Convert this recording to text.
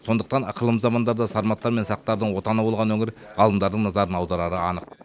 сондықтан ықылым замандарда сарматтар мен сақтардың отаны болған өңір ғалымдардың назарын аударары анық